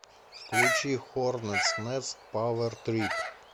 включи хорнетс нест пауэр трип